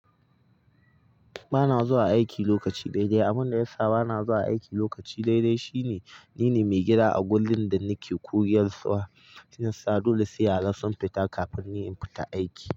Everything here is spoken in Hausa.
Ba na zuwa aiki lokaci dai-dai. Abin da ya sa ba na zuwa aiki lokaci dai-dai shine ni ne mai gida a gurin da nake koyarwa. Shiyasa dole sai yara sun fita kafin ni in fita aiki.